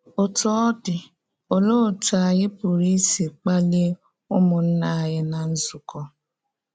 Ọ́tú ọ̀ dị, olee otú ànyí pụrụ isi kpalie ụmụnna anyị ná nzukọ?